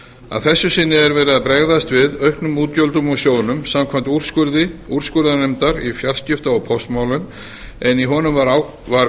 að þessu sinni er verið að bregðast við auknum útgjöldum úr sjóðnum samkvæmt úrskurði úrskurðarnefndar í fjarskipta ég póstmálum en í honum var